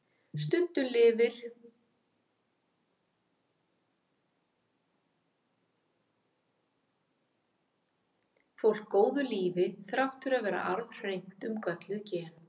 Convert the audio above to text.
Stundum lifir fólk góðu lífi þrátt fyrir að vera arfhreint um gölluð gen.